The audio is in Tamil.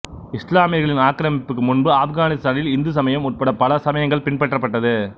இஸ்லாமியர்களின் ஆக்கிரமிப்புக்கு முன்பு ஆப்கானிஸ்தானில் இந்து சமயம் உட்பட பல சமயங்கள் பின்பற்றப்பட்டது